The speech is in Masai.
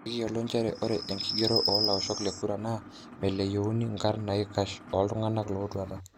'Ikiyolo njere ore enkigerore o laoshok le kura na meleyuni nkarn naikash oltunganak otwata.